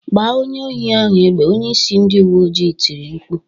"Gba onye ohi ahụ egbe!" onyeisi ndị uwe ojii tiri mkpu"